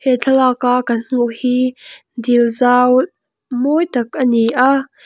he thlalaka kan hmuh hi dil zau mawi tak ani a.